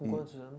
Com quantos anos?